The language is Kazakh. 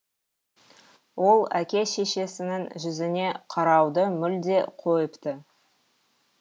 ол әке шешесінің жүзіне қарауды мүлде қойыпты